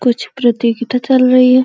कुछ प्रतियोगिता चल रही है।